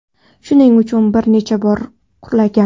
Shuning uchun bir necha bor qulagan.